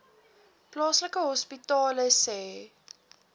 plaaslike hospitale sê